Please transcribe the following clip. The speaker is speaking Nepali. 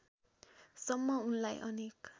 सम्म उनलाई अनेक